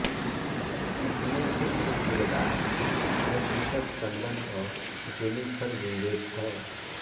इसमें मुख्य किरदार में कुशल टंडन और जेनिफर विंगेट हैं